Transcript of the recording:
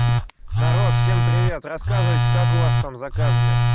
народ всем привет рассказывайте как у вас там с заказами